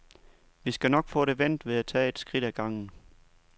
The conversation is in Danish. Vi skal nok få det vendt ved at tage et skridt ad gangen.